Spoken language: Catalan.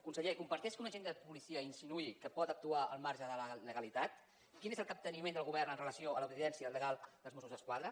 conseller comparteix que un agent de policia insinuï que pot actuar al marge de la legalitat quin és el capteniment del govern amb relació a l’obediència legal dels mossos d’esquadra